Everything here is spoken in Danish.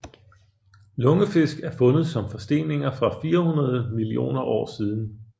Lungefisk er fundet som forsteninger fra 400 millioner år siden